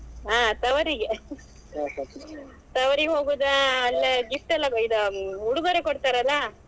ಹಾ ತವರಿಗೆ ತವರಿಗೆ ಹೋಗುದಾ ಅಲ್ಲಿ gift ಎಲ್ಲಾಇದು ಉಡುಗೊರೆ ಕೊಡ್ತಾರಲ್ಲಾ